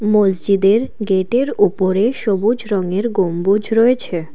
মসজিদের গেটের ওপরে সবুজ রঙের গম্বুজ রয়েছে।